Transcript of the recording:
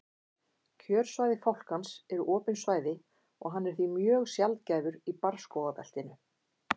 kjörsvæði fálkans eru opin svæði og hann er því mjög sjaldgæfur í barrskógabeltinu